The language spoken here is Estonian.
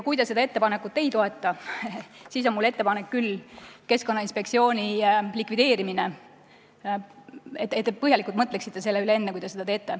Kui te seda ettepanekut ei toeta, siis on mul ettepanek, et te põhjalikult mõtleksite, enne kui te Keskkonnainspektsiooni likvideerite.